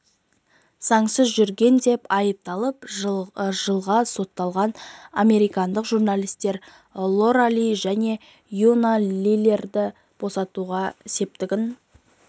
заңсыз жүрген деп айыпталып жылға сотталған американдық журналистер лора ли және юна лилерді босатуға септігін